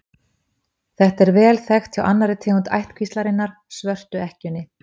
Þetta er vel þekkt hjá annarri tegund ættkvíslarinnar, svörtu ekkjunni.